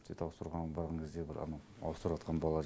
сөйтіп ауыстырғанға барған кезде бір анау ауыстырыватқан бала